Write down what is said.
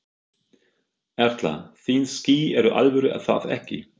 Erla: Þín ský eru alvöru er það ekki?